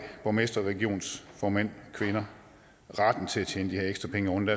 borgmestre og regionsformænd og kvinder retten til at tjene de her ekstra penge oven